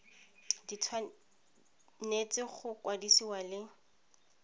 di tshwanetse go kwadisiwa le